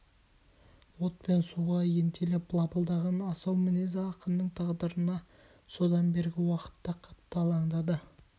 от пен суға ентелеп лапылдаған асау мінезі ақынның тағдырына содан бергі уақытта қатты алаңдады